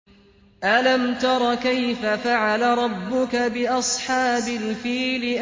أَلَمْ تَرَ كَيْفَ فَعَلَ رَبُّكَ بِأَصْحَابِ الْفِيلِ